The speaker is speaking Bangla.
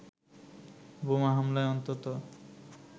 বোমা হামলায় অন্তত